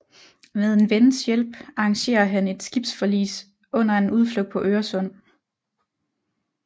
Med en vens hjælp arrangerer han et skibsforlis under en udflugt på Øresund